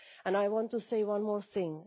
I want to say one more thing.